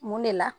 Mun de la